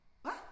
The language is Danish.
Hva?